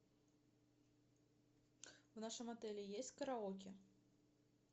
в нашем отеле есть караоке